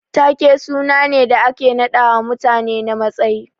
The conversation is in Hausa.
Ta ke sunane da ake naɗawa mutane na matsayi.